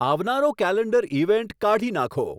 આવનારો calendar event કાઢી નાંખો